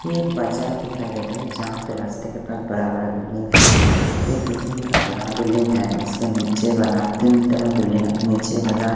ये एक बाजार दिखाई दे रहे हैं। जहां पर रास्ते के पास बड़ा बड़ा बिल्डिंग है। एक बिल्डिंग का बड़ा बिल्डिंग है उसके नीचे वाला तीन तला बिल्डिंग नीचे वाला--